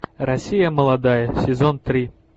россия молодая сезон три